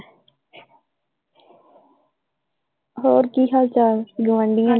ਹੋਰ ਕਿ ਹਾਲ ਚਾਲ ਗੁਆਂਢੀਆਂ ਦੇ?